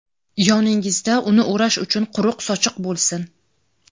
yoningizda uni o‘rash uchun quruq sochiq bo‘lsin.